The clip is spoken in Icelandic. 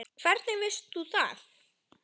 Hvernig veist þú það?